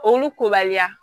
Olu kobaliya